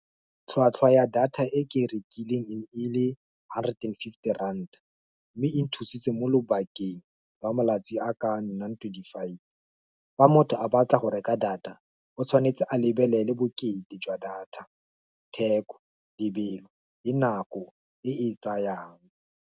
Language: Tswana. Tlhwatlhwa ya data e ke e rekileng e ne e le hundred and fifty rand, mme e nthusitse mo lobakeng ba malatsi a ka nnang twenty five. Fa motho a batla go reka data o tshwanetse a lebelele bokete jwa data, theko lebelo le nako e e tsayang.